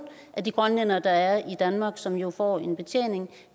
af de grønlændere der er i danmark som jo får en betjening